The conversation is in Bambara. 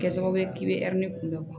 Kɛ sababu ye k'i bɛ kunbɛn